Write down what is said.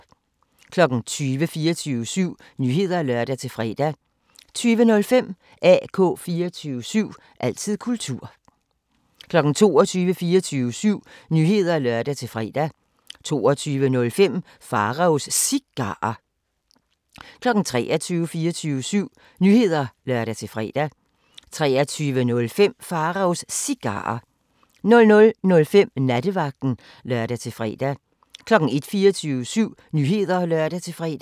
20:00: 24syv Nyheder (lør-fre) 20:05: AK 24syv – altid kultur 21:00: 24syv Nyheder (lør-fre) 21:05: AK 24syv – altid kultur 22:00: 24syv Nyheder (lør-fre) 22:05: Pharaos Cigarer 23:00: 24syv Nyheder (lør-fre) 23:05: Pharaos Cigarer 00:05: Nattevagten (lør-fre) 01:00: 24syv Nyheder (lør-fre)